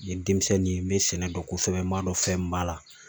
N ye denmisɛnnin ye n bɛ sɛnɛ dɔn kosɛbɛ m'a dɔn fɛn min b'a la